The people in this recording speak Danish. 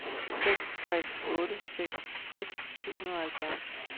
seks tre otte seks tres syv hundrede og halvfjerds